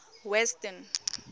western